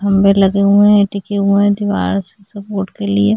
खम्बे लगे हुए है टिके हुए है दीवार से सपोर्ट के लिए।